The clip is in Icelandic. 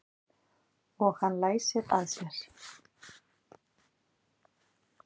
Og hann læsir að sér.